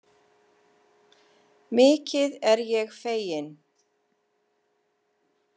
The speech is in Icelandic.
Mikið er ég fegin.